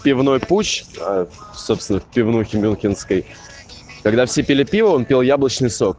пивной путч в собственных пивнухи мюнхенской когда все пили пиво он пил яблочный сок